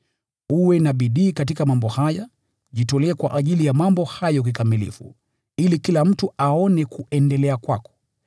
Uwe na bidii katika mambo haya; ujitolee kwa ajili ya mambo haya kikamilifu, ili kila mtu aone kuendelea kwako.